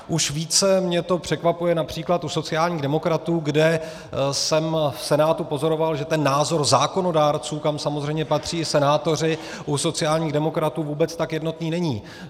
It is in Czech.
Už více mě to překvapuje například u sociálních demokratů, kde jsem v Senátu pozoroval, že ten názor zákonodárců, kam samozřejmě patří i senátoři, u sociálních demokratů vůbec tak jednotný není.